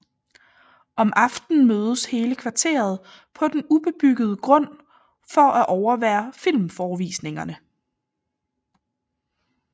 Om aftenen mødes hele kvarteret på den ubebyggede grund for at overvære filmforevisningerne